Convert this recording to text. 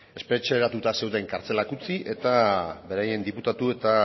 espetxeratua zeuden kartzelak utzi eta beraien diputatu eta